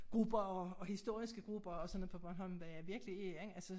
Grupper og historiske grupper og sådan noget på Bornholm hvor jeg virkelig ikke altså